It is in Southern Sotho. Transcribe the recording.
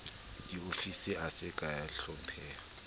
diofisi a se kea hlopheha